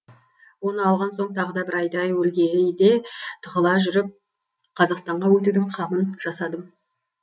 оны алған соң тағы да бір айдай өлгейде тығыла жүріп қазақстанға өтудің қамын жасадым